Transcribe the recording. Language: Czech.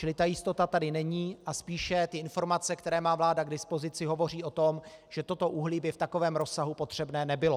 Čili ta jistota tady není a spíše ty informace, které má vláda k dispozici, hovoří o tom, že toto uhlí by v takovém rozsahu potřebné nebylo.